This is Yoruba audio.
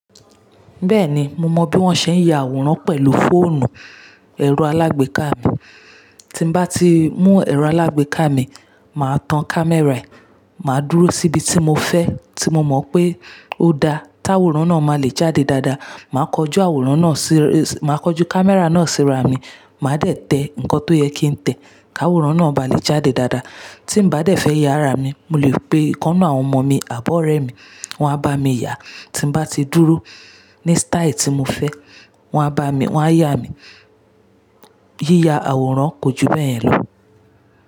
Bẹ́ẹ̀ni, mo mọ bí wón ṣe ń ya àwòrán pẹ̀lú fóònù ẹ̀rọ alágbèéká mi. Tí bá ti mú ẹ̀rọ alágbèéká mi, màá tan kámẹ́rà ẹ̀, màá dúró síbi tí mo fẹ́ tí mo mọ̀ pé ó da táwòrán náà máa le jáde dáadáa, màá kọ jú àwòrán náà sí, màá kọ jú kámẹ́rà náà síra mi, màá dẹ̀ tẹ nǹkan tó yẹ kí n tẹ̀ káwòrán náà bá lè jáde dáadáa. Tímbá dẹ̀ fẹ́ yá ara mi, mo lè pe ìkan ninu àwọn ọmọ mi, àbi òrẹ mi, wọ́n á bá mi yá. Tí bá ti dúró ní sítáì tí mo fẹ́, wọ́n á bá mi, wọ́n á yá mi. Yíya àwòrán kò ju bẹ́ yẹ̀ lọ.